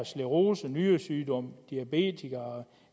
sclerose nyresygdom diabetes